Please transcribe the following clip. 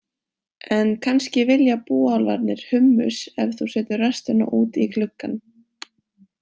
En kannski vilja búálfarnir húmmus ef þú setur restina út í gluggann.